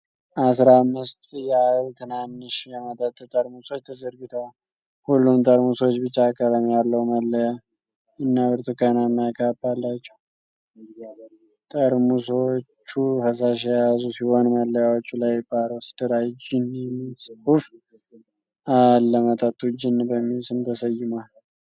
አስራ አምስት ያህል ትናንሽ የመጠጥ ጠርሙሶች ተዘርግተዋል። ሁሉም ጠርሙሶች ቢጫ ቀለም ያለው መለያ እና ብርቱካናማ ካፕ አላቸው። ጠርሙሶቹ ፈሳሽ የያዙ ሲሆን ፣ መለያዎቹ ላይ "ባሮስ ድራይ ጂን" የሚል ጽሁፍ አለ። መጠጡ "ጂን" በሚል ስም ተሰይሟል።